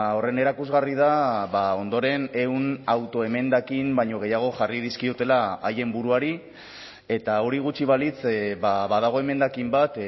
horren erakusgarri da ondoren ehun autoemendakin baino gehiago jarri dizkiotela haien buruari eta hori gutxi balitz badago emendakin bat